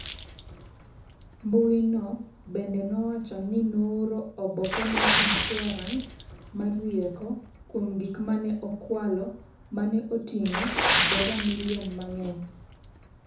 mbui no bende nowacho ni nooro oboke mar insurans mar rieko kuom gik ma ne okwalo ma ne oting’o dola milion mang’eny.